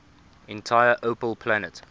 entire opel plant